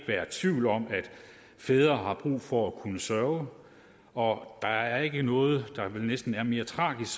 være tvivl om at fædre har brug for at kunne sørge og der er ikke noget der næsten er mere tragisk